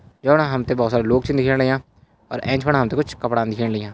योणा हमते बहौत सारा लोग छी दिख्याण लाग्यां और ऐंच पण हमते कुछ कपड़ान दिख्येण लाग्यां।